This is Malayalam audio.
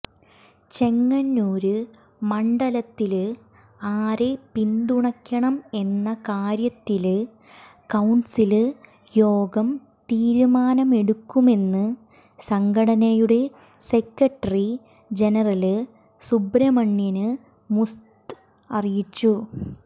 ചെങ്ങന്നൂര് മണ്ഡലത്തില് ആരെ പിന്തുണയ്ക്കണം എന്ന കാര്യത്തില് കൌണ്സില് യോഗം തീരുമാനമെടുക്കുമെന്ന് സംഘടനയുടെ സെക്രട്ടറി ജനറല് സുബ്രഹ്മണ്യന് മൂസത് അറിയിച്ചു